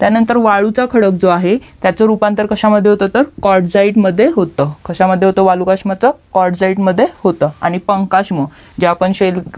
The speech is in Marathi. त्यानंतर वाळूचा खडक जो आहे त्याचा रूपांतर कश्या मध्ये होतं तर कोर्डझाईड मध्ये होतं कश्या मध्ये होतं वाळूचा रूपांतर कोर्डझाईड मदये होतं आणि कोंकष्म जे आपण